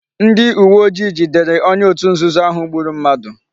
Ndi uwe ojii jidere onye otu nzuzo ahu gburu mmadu